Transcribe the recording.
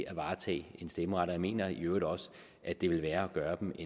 at varetage en stemmeret og jeg mener i øvrigt også at det ville være at gøre dem